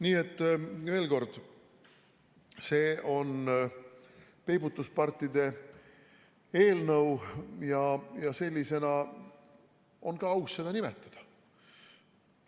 Nii et veel kord, see on peibutuspartide eelnõu ja sellisena on seda ka aus nimetada.